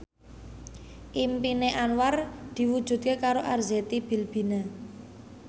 impine Anwar diwujudke karo Arzetti Bilbina